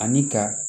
Ani ka